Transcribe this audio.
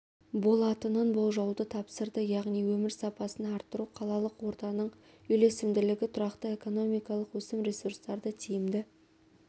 болатынын болжауды тапсырды яғни өмір сапасын арттыру қалалық ортаның үйлесімділігі тұрақты экономикалық өсім ресурстарды тиімді